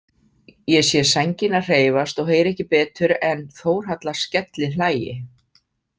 Ég sé sængina hreyfast og heyri ekki betur en Þórhalla skellihlæi.